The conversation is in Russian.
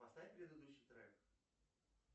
поставь предыдущий трек